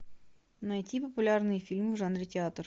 найти популярные фильмы в жанре театр